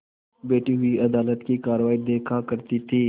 बैठी हुई अदालत की कारवाई देखा करती थी